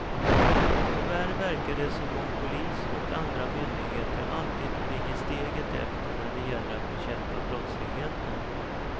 Tyvärr verkar det som om polis och andra myndigheter alltid ligger steget efter när det gäller att bekämpa brottsligeten.